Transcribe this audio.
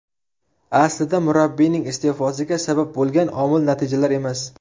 Aslida murabbiyning iste’fosiga sabab bo‘lgan omil natijalar emas.